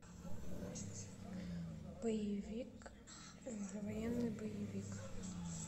боевик военный боевик